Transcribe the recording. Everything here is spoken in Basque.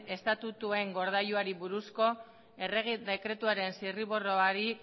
estatutuen gordailuari buruzko errege dekretuaren zirriborroari